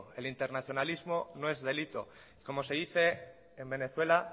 el internacionalista no es delito como se dice en venezuela